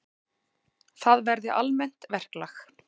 Það verði almennt verklag.